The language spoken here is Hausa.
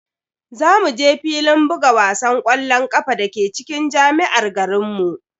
Za mu je filin buga wasan ƙwallon ƙafa dake cikin jami'ar garinmu.